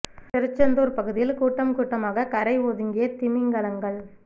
திருச்செந்தூர் பகுதியில் கூட்டம் கூட்டமாக கரை ஒதுங்கிய திமிங்கலங்கள்